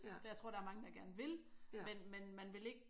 For jeg tror der er mange der gerne vil men man vil ikke